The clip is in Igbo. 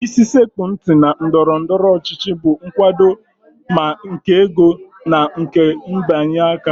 Isi sekpụ ntị na ndọrọndọrọ ọchịchị bụ nkwado, ma nke ego na nke mbịanye aka